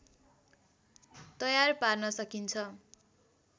तयार पार्न सकिन्छ